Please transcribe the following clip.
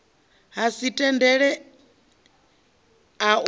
ha si tendele u ea